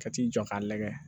Ka t'i jɔ k'a lagɛ